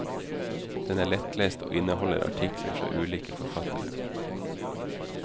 Den er lettlest, og inneholder artikler fra ulike forfattere.